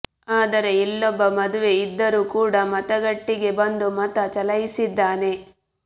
ಆದರೆ ಇಲ್ಲೊಬ್ಬ ಮದುವೆ ಇದ್ದರೂ ಕೂಡ ಮತಗಟ್ಟೆಗೆ ಬಂದು ಮತ ಚಲಾಯಿಸಿದ್ದಾನೆ